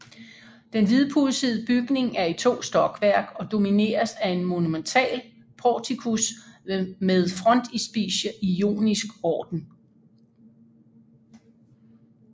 Den hvidpudsede bygning er i to stokværk og domineres af en monumental portikus med frontispice i jonisk orden